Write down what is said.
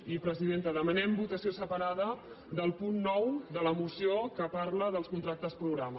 i presidenta demanem votació separada del punt nou de la moció que parla dels contractes programa